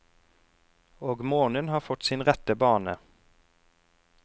Og månen har fått sin rette bane.